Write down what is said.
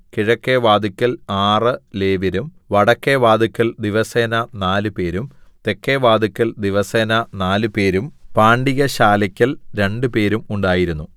കിഴക്കെ വാതില്ക്കൽ ആറ് ലേവ്യരും വടക്കെ വാതില്ക്കൽ ദിവസേന നാലുപേരും തെക്കെ വാതില്ക്കൽ ദിവസേന നാലുപേരും പാണ്ടികശാലെക്കൽ രണ്ടുപേരും ഉണ്ടായിരുന്നു